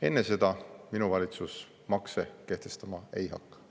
Enne seda minu valitsus makse kehtestama ei hakka.